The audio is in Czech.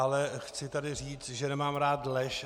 Ale chci tady říct, že nemám rád lež.